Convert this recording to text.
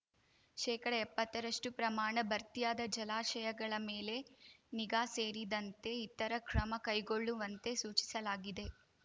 ಶೇಕಡ ಎಪ್ಪತ್ತರಷ್ಟುಪ್ರಮಾಣ ಭರ್ತಿಯಾದ ಜಲಾಶಯಗಳ ಮೇಲೆ ನಿಗಾ ಸೇರಿದಂತೆ ಇತರ ಕ್ರಮ ಕೈಗೊಳ್ಳುವಂತೆ ಸೂಚಿಸಲಾಗಿದೆ